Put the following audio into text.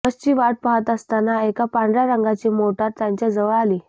बसची वाट पाहत असताना एका पांढऱ्या रंगाची मोटार त्यांच्याजवळ आली